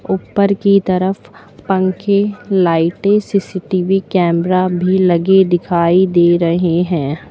ऊपर की तरफ पंखे लाइटें सी_सी_टी_वी कैमरा भी लगे दिखाई दे रहे हैं।